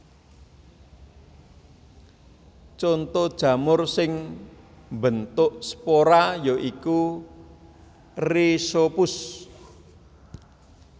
Conto jamur sing mbentuk spora ya iku Rhizopus